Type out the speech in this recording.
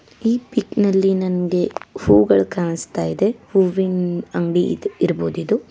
ಈ ಪಿಕ್ ನಲ್ಲಿ ನಂಗೆ ಹೂಗಳು ಕಾಣಿಸ್ತಾ ಇದೆ ಹೂವಿನ್ ಅಂಗಡಿ ಇದ್- ಇರ್ಬೋದಿದು.